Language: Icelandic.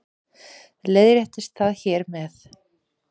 Leiðréttist það hér með